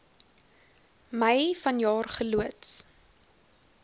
mei vanjaar geloods